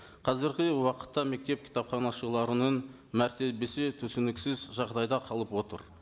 қазіргі уақытта мектеп кітапханашыларының мәртебесі түсініксіз жағдайда қалып отыр